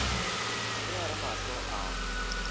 ge a re mahlo a